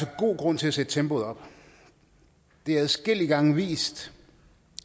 god grund til at sætte tempoet op det er adskillige gange vist